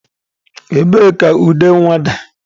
Ebee ka ude nwa dị?